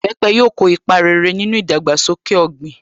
Ìbẹpẹ̀ yóò ko ipa rere nínú ìdàgbàsókè ọ̀gbìn.